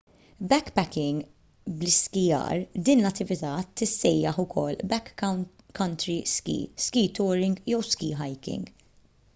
backpacking bl-iskijjar din l-attività tissejjaħ ukoll backcountry ski ski touring jew ski hiking